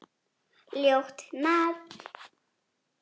Ljótt nafn.